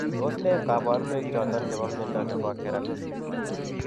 Tos nee kabarunaik choton chebo mnyondo nebo Keratosis?